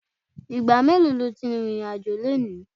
Ìgbà mélòó lo ti rìnrìn-àjò lónìí?